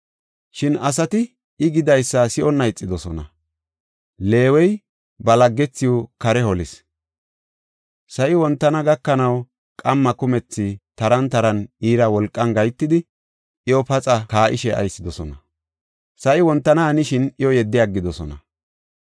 Shin asati I gidaysa si7onna ixidosona. Leewey ba laggethiw kare holis. Sa7i wontana gakanaw qamma kumethi taran taran iira wolqan gahetidi, iyo paxa kaa7ishe aysidosona; sa7i wontana hanishin iyo yeddi aggidosona.